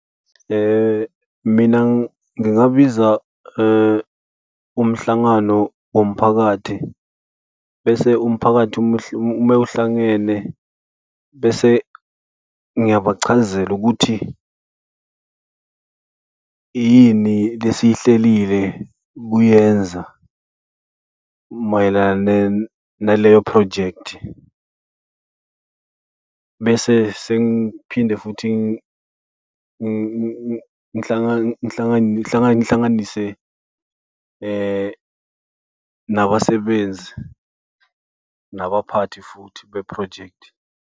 Mina ngingabiza umhlangano womphakathi bese umphakathi uma uhlangene bese ngiyabachazela ukuthi yini lesiy'hlelile ukuyenza mayelana naleyo phrojekthi. Bese sengiphinde futhi ukuthi ngihlanganise nabasenbenzi nabaphathi futhi bephrojekthi.